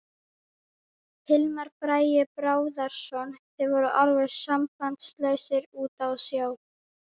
Hilmar Bragi Bárðarson: Þið voruð alveg sambandslausir úti á sjó?